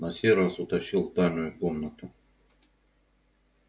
на сей раз утащил в тайную комнату